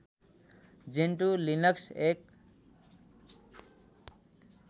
Gentoo Linux एक